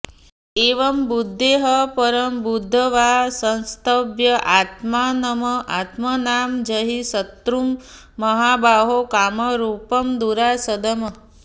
एवं बुद्धेः परं बुद्ध्वा संस्तभ्य आत्मानम् आत्मना जहि शत्रुं महाबाहो कामरूपं दुरासदम्